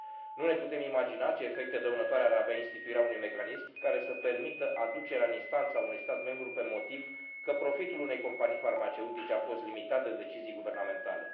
Nu ne putem imagina ce efecte dăunătoare ar avea instituirea unui mecanism care să permită aducerea în instanță a unui stat membru pe motiv că profitul unei companii farmaceutice a fost limitat de decizii guvernamentale.